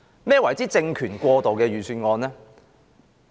何謂政權過渡的預算案呢？